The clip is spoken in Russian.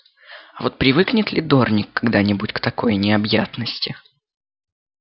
а вот привыкнет ли дорник когда-нибудь к такой необъятности